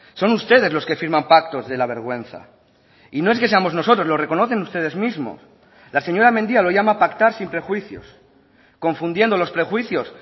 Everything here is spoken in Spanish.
son ustedes los que firman pactos de la vergüenza y no es que seamos nosotros lo reconocen ustedes mismos la señora mendia lo llama pactar sin prejuicios confundiendo los prejuicios